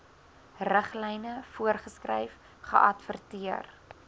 riglyne voorgeskryf geadverteer